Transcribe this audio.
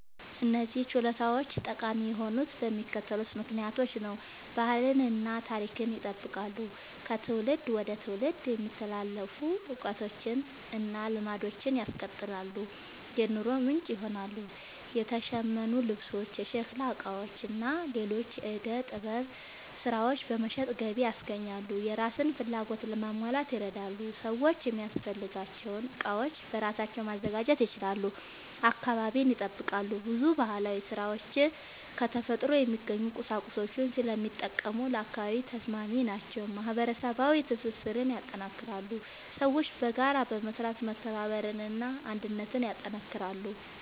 እነዚህ ችሎታዎች ጠቃሚ የሆኑት በሚከተሉት ምክንያቶች ነው፦ ባህልን እና ታሪክን ይጠብቃሉ – ከትውልድ ወደ ትውልድ የሚተላለፉ እውቀቶችን እና ልማዶችን ያስቀጥላሉ። የኑሮ ምንጭ ይሆናሉ – የተሸመኑ ልብሶች፣ የሸክላ ዕቃዎች እና ሌሎች የዕደ ጥበብ ሥራዎች በመሸጥ ገቢ ያስገኛሉ። የራስን ፍላጎት ለማሟላት ይረዳሉ – ሰዎች የሚያስፈልጋቸውን ዕቃዎች በራሳቸው ማዘጋጀት ይችላሉ። አካባቢን ይጠብቃሉ – ብዙ ባህላዊ ሥራዎች ከተፈጥሮ የሚገኙ ቁሳቁሶችን ስለሚጠቀሙ ለአካባቢ ተስማሚ ናቸው። ማህበረሰባዊ ትስስርን ያጠናክራሉ – ሰዎች በጋራ በመስራት መተባበርን እና አንድነትን ያጠናክራሉ።